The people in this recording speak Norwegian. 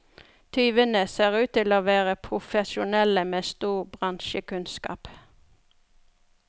Tyvene ser ut til å være profesjonelle med stor bransjekunnskap.